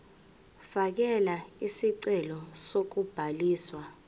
fakela isicelo sokubhaliswa